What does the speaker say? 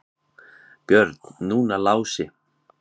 Björn, núna Lási.